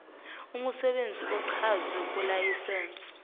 imsebenzi ochazwe kulayisense